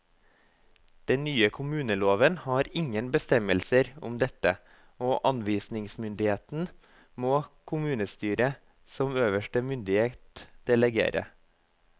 Den nye kommuneloven har ingen bestemmelser om dette, og anvisningsmyndigheten må kommunestyret som øverste myndighet delegere.